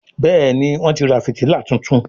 Béèni Wón tí rà fìtílà títún.